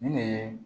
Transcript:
Nin de ye